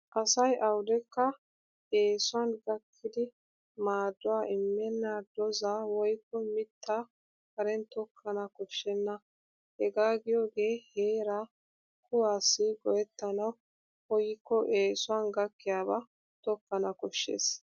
Asay awudekka eesuwan gakkidi maaduwa immenna doozzaa woykko mittaa Karen tokkana koshshenna. Hegaa giyoogee heeraa kuwaassi go'ettanawu koyikko eesuwan gakkiyaabaa tokkana koshshes.